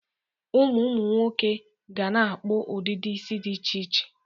Ụmụ nwoke ga na-akpụ ọdịdị isi dị iche iche.